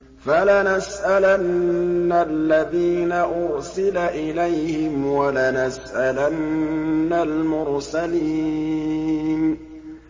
فَلَنَسْأَلَنَّ الَّذِينَ أُرْسِلَ إِلَيْهِمْ وَلَنَسْأَلَنَّ الْمُرْسَلِينَ